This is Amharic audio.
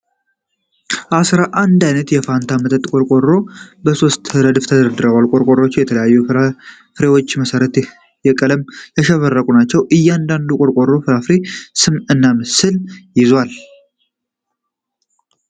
አሥራ አንድ ዓይነት የፋንታ መጠጥ ቆርቆሮዎች በሦስት ረድፎች ተደርድረዋል። ቆርቆሮዎቹ በተለያዩ ፍራፍሬዎች መሠረት በቀለም ያሸበረቁ ናቸው። እያንዳንዱ ቆርቆሮ የፍራፍሬውን ስም እና ምስል ይዟል።